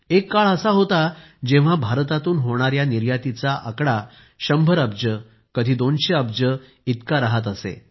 एक काळ असा होता जेव्हा भारतातून होणाऱ्या निर्यातीचा आकडा देखील 100 अब्ज कधी 200 अब्ज इतका राहत असे